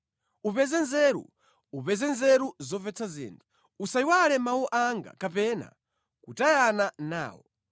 Upeze nzeru, upeze nzeru zomvetsa zinthu; usayiwale mawu anga kapena kutayana nawo.